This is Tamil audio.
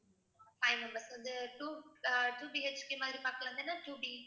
five members வந்து two ஆஹ் two BHK மாதிரி பாக்கலாம்தானே two B